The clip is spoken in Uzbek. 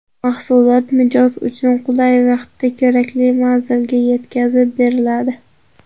Mahsulot mijoz uchun qulay vaqtda kerakli manzilga yetkazib beriladi.